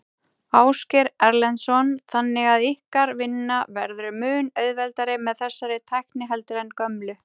Ásgeir Erlendsson: Þannig að ykkar vinna verður mun auðveldari með þessari tækni heldur en gömlu?